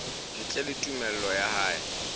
ntle le tumello ya hae